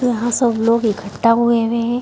तो हां सब लोग इकट्ठा हुवे हुए हैं।